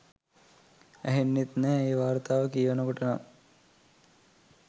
ඇහෙන්නෙත් නැහැ ඒ වාර්තා කියවනකොට නම්.